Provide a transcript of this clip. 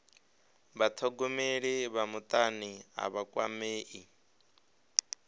vhathogomeli vha mutani a vha kwamei